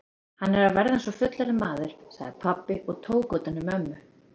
Hann er að verða eins og fullorðinn maður, sagði pabbi og tók utan um mömmu.